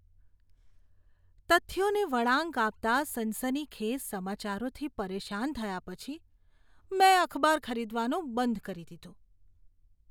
તથ્યોને વળાંક આપતા સનસનીખેજ સમાચારોથી પરેશાન થયા પછી મેં અખબાર ખરીદવાનું બંધ કરી દીધું.